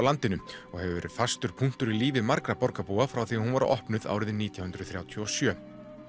landinu og hefur verið fastur punktur í lífi margra borgarbúa frá því hún var opnuð árið nítján hundruð þrjátíu og sjö